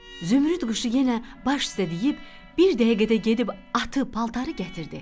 Zümrüd quşu yenə baş üstə deyib, bir dəqiqədə gedib atı, paltarı gətirdi.